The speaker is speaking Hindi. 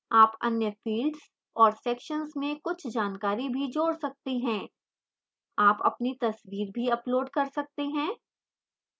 आप अन्य fields और sections में कुछ जानकारी भी जोड़ सकते हैं आप अपनी तस्वीर भी upload कर सकते हैं